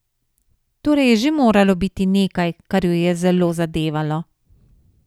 Torej je že moralo biti nekaj, kar jo je zelo zadevalo.